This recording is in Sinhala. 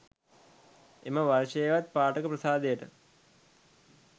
එම වර්ෂයේවත් පාඨක ප්‍රසාදයට